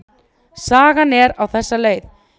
Sagan er á þessa leið: